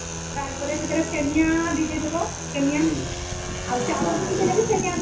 ତାର ପରେ ସେମିଆ ବି ଦେଇ ଦବ ଚାଉଳ ବି ଦେଇଥିଲେ ସେମିଆ ବି ଦେଇଦବା